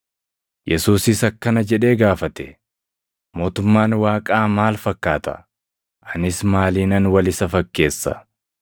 Yesuusis akkana jedhee gaafate; “Mootummaan Waaqaa maal fakkaata? Anis maaliinan wal isa fakkeessa?